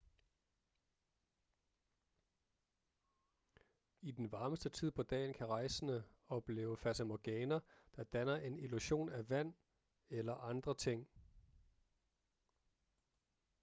i den varmeste tid på dagen kan rejsende opleve fatamorgana der danner en illusion af vand eller andre ting